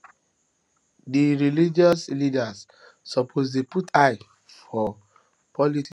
dem religious leaders suppose dey put eye for politics mata